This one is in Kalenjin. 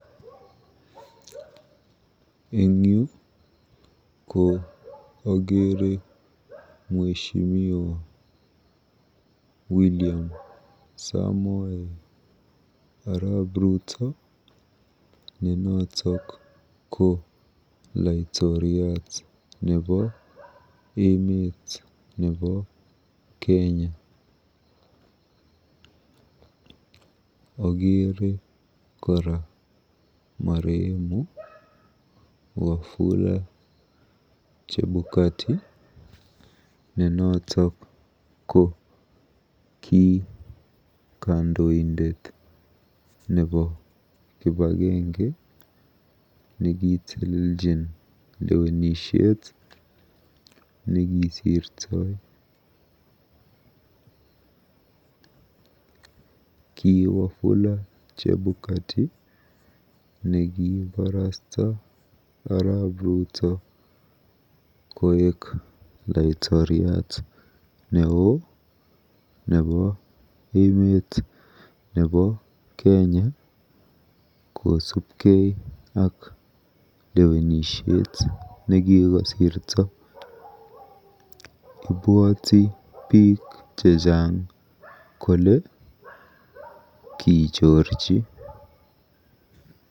Eng yu ko akere mweshimiwa William Samoei arap Ruto ne noto ko laitoriat nebo emet nebo Kenya. Akeere kora marehemu Wafula Chebukati ne noto ko kandoindet nebo kibagenge nekiteleljin lewenisiet nekisirtoi. Ki Wafula Chebukati nekiiborostoi arap Ruto koek Laitoriat neoo nebo emet nebo Kenya kosubkei ak lewenisiet nekikosirto. Ibwoti biik chechang kole kichorchi